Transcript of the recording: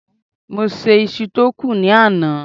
mo se iṣu ti o kún ni àná